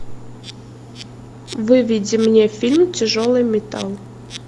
выведи мне фильм тяжелый металл